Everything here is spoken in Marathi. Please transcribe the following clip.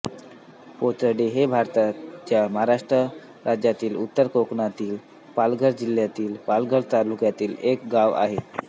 पोचडे हे भारताच्या महाराष्ट्र राज्यातील उत्तर कोकणातील पालघर जिल्ह्यातील पालघर तालुक्यातील एक गाव आहे